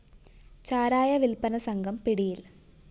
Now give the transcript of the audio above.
ചാരായ വില്‍പ്പന സംഘം പിടിയില്‍